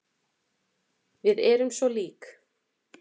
Við erum svo lík.